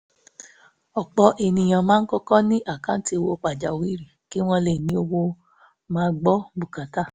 ọ̀pọ̀ èèyàn máa ń kọ́kọ́ ní àkáǹtì owó pàjáwìrì kí wọ́n lè ní owó máa gbọ́ bùkátà